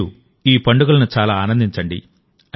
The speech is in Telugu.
మీరు ఈ పండుగలను చాలా ఆనందించండి